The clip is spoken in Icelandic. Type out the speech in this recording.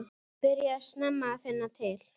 Byrjaði snemma að finna til.